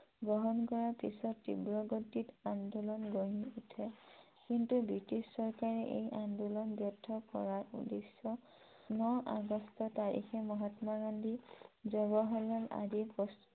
গ্ৰহন কৰাৰ পাচত তীব্ৰ গতিত আন্দোলন গঢ়ি উঠে । কিন্তু ব্ৰিটিছ চৰকাৰে এই আন্দোলন ব্য়ৰ্থ কৰাৰ উদ্দেশ্য়ে ন আগষ্ট তাৰিখে মহাত্মা গান্ধী, জৱাহৰলাল নেহৰু আদি